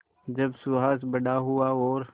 जब सुहास बड़ा हुआ और